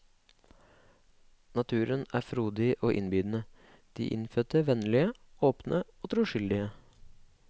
Naturen er frodig og innbydende, de innfødte vennlige, åpne og troskyldige.